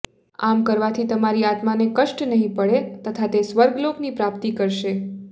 આમ કરવાથી તમારી આત્માને કષ્ટ નહીં પડે તથા તે સ્વર્ગલોક ની પ્રાપ્તિ કરશે